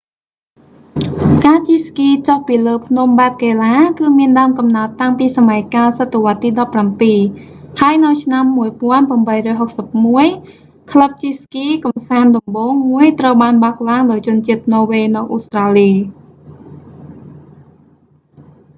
ការជិះស្គីចុះពីលើភ្នំបែបកីឡា គឺមានដើមកំណើតតាំងពីសម័យកាលសតវត្សរ៍ទី17 ហើយនៅឆ្នាំ1861 ក្លឹបជិះស្គីកម្សាន្តដំបូងមួយត្រូវបានបើកឡើងដោយជនជាតិន័រវេសនៅអូស្ត្រាលី